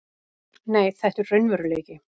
Nei, þetta er raunveruleiki.